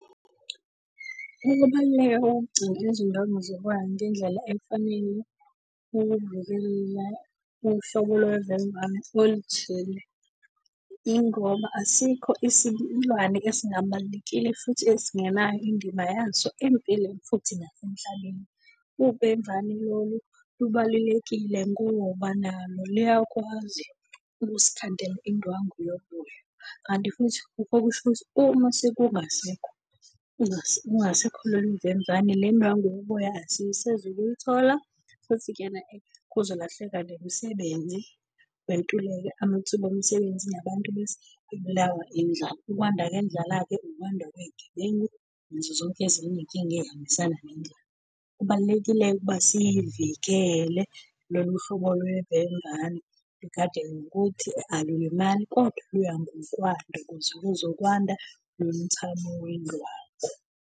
Ukubaluleka kokugcina izindwangu zoboya ngendlela efanele ukuvikela uhlobo lovemvane oluthile. Ingoba asikho isilwane esingabalulekile futhi esingenayo indima yaso empilweni, futhi nasemhlabeni. Uvemvane lolu lubalulekile ngoba nalo luyakwazi ukusikhandela indwangu yoboya. Kanti futhi lokho kusho ukuthi uma sekungasekho kungasekho lolu vemvane, le ndwangu yoboya asisezukuyithola futhi ena-ke kuzolahleka nemisebenzi, kwentuleke amathuba omsebenzi nabantu bese bebulawa indlala. Ukwanda kwendlala-ke, ukwanda kwey'gebengu nazo zonke ezinye iy'nkinga ey'hambisana nendlala. Kubalulekile-ke ukuba siyivikele lolu hlobo lwevemvane lugade nokuthi alulimali, kodwa luya ngokwanda ukuze kuzokwanda nomthamo wendwangu.